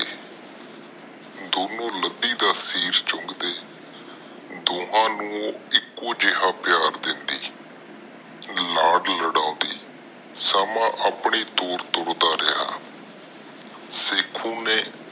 ਦੋਨੋ ਲੱਦੀ ਦਾ ਸਿਰ ਚੁੰਗ ਦੇ ਦੋਹਾ ਨੂੰ ਇਕੋ ਜਿਹਾ ਪੀਰ ਦੇਂਦੀ ਲਾਡ ਲਡਾਉਂਦੀ। ਸਮਾਂ ਆਪਣੀ ਤੋਰ ਤੁਰਦਾ ਰਿਹਾ। ਸ਼ੇਖੂ ਨੇ